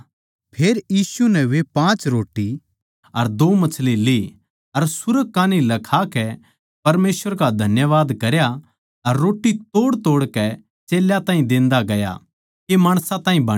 फेर यीशु नै वे पाँच रोट्टी अर दो मच्छियाँ ली सुर्ग कान्ही लखाकै परमेसवर का धन्यवाद करया अर रोट्टी तोड़तोड़कै चेल्यां ताहीं देंदा गया के माणसां ताहीं बांडै